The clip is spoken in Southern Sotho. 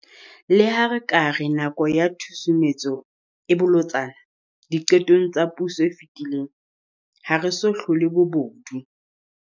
Le ha re ka re nako ya tshusumetso e bolotsana diqetong tsa puso e fetile, ha re so hlole bobodu.